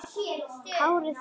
Kári Þór.